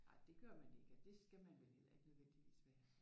Nej det gør man ikke og det skal man vel heller ikke nødvendigvis være altså